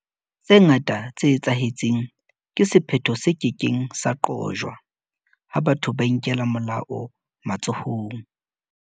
Tse ngata tse etsahetseng ke sephetho se ke keng sa qojwa ha batho ba inkela molao matsohong.